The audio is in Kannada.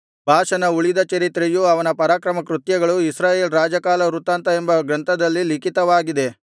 ಬಾಷನ ಉಳಿದ ಚರಿತ್ರೆಯೂ ಅವನ ಪರಾಕ್ರಮಕೃತ್ಯಗಳೂ ಇಸ್ರಾಯೇಲ್ ರಾಜಕಾಲವೃತ್ತಾಂತ ಎಂಬ ಗ್ರಂಥದಲ್ಲಿ ಲಿಖಿತವಾಗಿದೆ